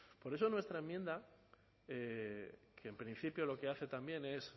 por eso nuestra enmienda que en principio lo que hace también es